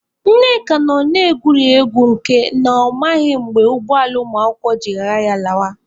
Nneka nọ na-egwuri egwu nke na ọ maghị mgbe ụgbọala ụmụakwụkwọ ji ghara ya lawa.